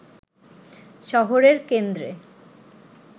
শহরের কেন্দ্রে